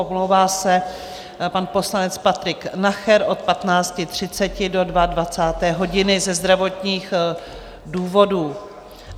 Omlouvá se pan poslanec Patrik Nacher od 15.30 do 22 hodin ze zdravotních důvodů.